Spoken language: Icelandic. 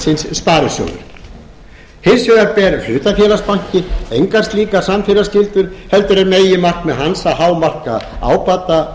sparisjóður hins vegar ber hlutafélagsbanki engar slíkar samfélagsskyldur heldur er meginmarkmið hans að hámarka ábata